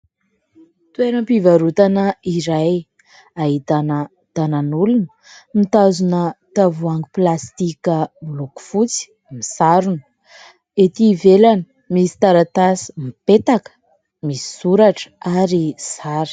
Toeram-pivarotana iray ahitana tanan'olona mitazona tavoahangy plastika miloko fotsy, misarona, ety ivelany misy taratasy mipetaka misy soratra ary sary.